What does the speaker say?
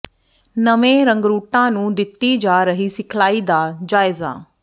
ਨਵੇਂ ਰੰਗਰੂਟਾਂ ਨੂੰ ਦਿੱਤੀ ਜਾ ਰਹੀ ਸਿਖਲਾਈ ਦਾ ਜਾਇਜ਼ਾ